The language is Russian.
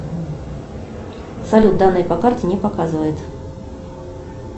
салют данные по карте не показывает